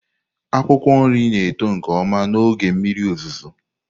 Akwụkwọ nri na-eto nke ọma n'oge mmiri ozuzo.